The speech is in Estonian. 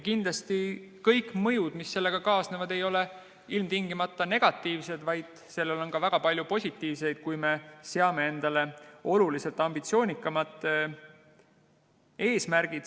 Kindlasti kõik mõjud, mis sellega kaasnevad, ei ole ilmtingimata negatiivsed, vaid selles, kui me seame endale oluliselt ambitsioonikamad eesmärgid, on ka väga palju positiivset.